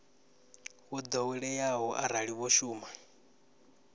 wo ḓoweleaho arali vho shuma